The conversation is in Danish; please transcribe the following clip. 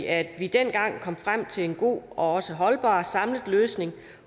at vi dengang kom frem til en god og holdbar samlet løsning